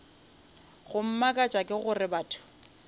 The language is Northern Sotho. go mmakatša ke gore batho